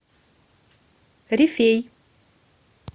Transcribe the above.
рифей